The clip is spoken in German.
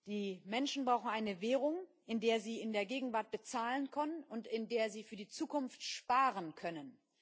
Die Menschen brauchen eine Währung, in der sie in der Gegenwart bezahlen können und in der sie für die Zukunft sparen können.